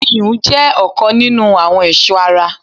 iyùn jẹ́ ọ̀kan nínu àwọn ẹ̀sọ́ ara.